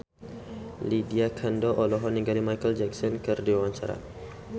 Lydia Kandou olohok ningali Micheal Jackson keur diwawancara